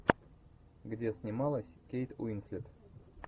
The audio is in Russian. где снималась кейт уинслет